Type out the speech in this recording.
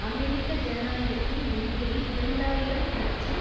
அமெரிக்க ஜனநாயகத்தின் நெருக்கடி இரண்டு ஆயிரம் மற்றும்